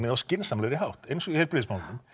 á skynsamlegri hátt eins og í heilbrigðismálunum